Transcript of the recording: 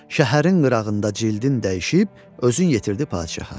Şəhərin qırağında cildin dəyişib özün yetirdi padşaha.